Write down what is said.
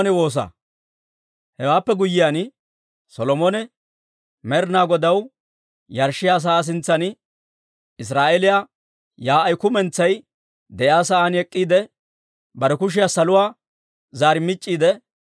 Hewaappe guyyiyaan Solomone Med'inaa Godaw yarshshiyaa sa'aa sintsan, Israa'eeliyaa yaa'ay kumentsay de'iyaa sa'aan ek'k'iide, bare kushiyaa saluwaa zaar mic'c'iidde,